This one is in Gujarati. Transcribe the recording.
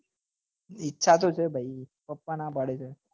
ઈચ્છા તો છે ભાઈ પપ્પા નાં પાડે છે